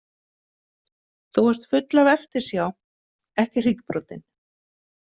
Þú varst full af eftirsjá, ekki hryggbrotin.